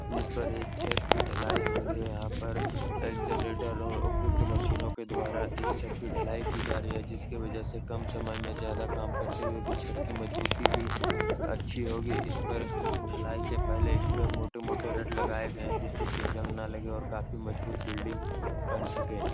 जिस पर एक छत की ढलाई हो रही है। यहाँ पर अ जनरेटर और उपयुक्त मशीनों के द्वारा इस छत की ढलाई की जा रही है जिसके वजह से कम समय में ज्यादा काम करते हुए भी छत की मजबूती भी अच्छी होगी। इस पर ढलाई से पहले इस पर मोटे-मोटे रड लगाये गई हैं जिससे इसे जंग ना लगे और काफी मजबूत बिल्डिंग बन सके।